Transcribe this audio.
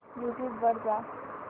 YouTube वर जा